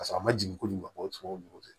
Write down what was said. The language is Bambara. Paseke a ma jigin ko ɲuman bɔ ɲɔgɔn fɛ